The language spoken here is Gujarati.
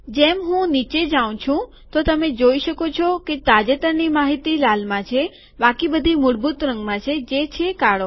જેમ હું નીચે જઉં તો તમે જોઈ શકો છો કે તાજેતરની માહિતી લાલમાં છે બાકી બધી મૂળભૂત રંગમાં છે જે છે કાળો